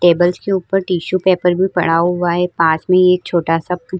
Tables के ऊपर tissue paper भी पड़ा हुआ है। पास ही में एक छोटा-सा --